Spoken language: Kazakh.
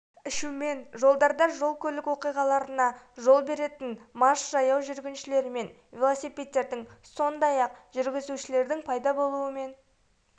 ішумен жолдарда жол-көлік оқиғаларына жол беретін мас жаяу жүргіншілер мен велосипедистердің сондай-ақ жүргізушілердің пайда болуымен